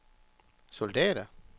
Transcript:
soldater